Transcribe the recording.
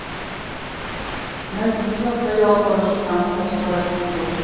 мәлік бізді қайда алып бара жатқанын жасырып айтқан жоқ